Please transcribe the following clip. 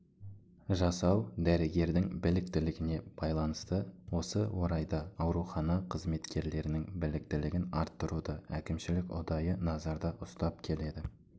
жасау дәрігердің біліктілігіне байланысты осы орайда аурухана қызметкерлерінің біліктілігін арттыруды әкімшілік ұдайы назарда ұстап келеді